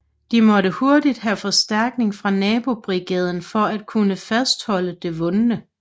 De måtte hurtigt have forstærkning fra nabobrigaden for at kunne fastholde det vundne